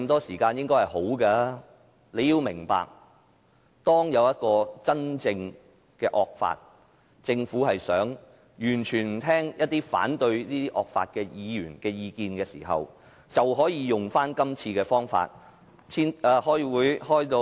市民要明白，當出現真正的惡法，政府完全不聆聽反對惡法的議員的意見時，便可以用這樣的手段。